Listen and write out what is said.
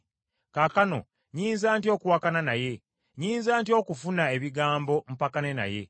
Kaakano nnyinza ntya okuwakana naye? Nnyinza ntya okufuna ebigambo mpakane naye?